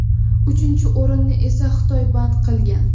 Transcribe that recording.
uchinchi o‘rinni esa Xitoy band qilgan.